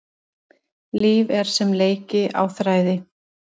Líf er sem leiki á þræði.